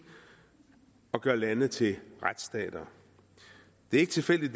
og gør lande til retsstater det er ikke tilfældigt